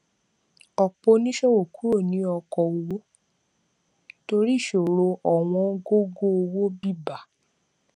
ọpọ oníṣòwò kúrò ní okoòwò torí ìṣòro ọwọn gógó owó bébà